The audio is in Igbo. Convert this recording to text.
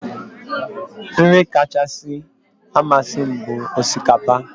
Nri kacha amasị m bụ osikapa